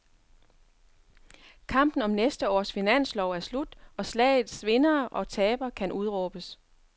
Kampen om næste års finanslov er slut, og slagets vindere og tabere kan udråbes.